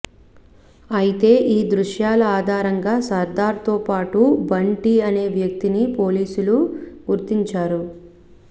అయితే ఈ దృశ్యాల ఆధారంగా సర్ధార్ తో పాటు బంటి అనే వ్యక్తిని పోలీసులు గుర్తించారు